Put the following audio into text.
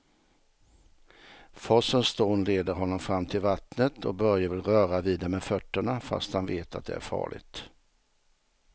Forsens dån leder honom fram till vattnet och Börje vill röra vid det med fötterna, fast han vet att det är farligt.